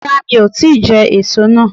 Rárá mi o ti je èso náà